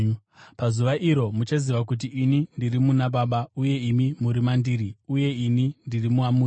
Pazuva iro muchaziva kuti ini ndiri muna Baba, uye imi muri mandiri, uye ini ndiri mamuri.